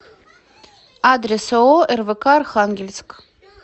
адрес ооо рвк архангельск